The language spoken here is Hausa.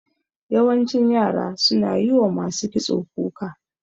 Yawancin yara suna yi wa masu kitso kuka.